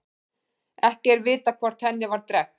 Ekki er vitað hvort henni var drekkt.